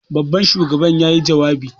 Babban shugaban yayi jawabi.